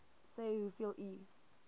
sê hoeveel u